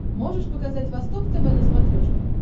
можешь показать восток тв на смотрешке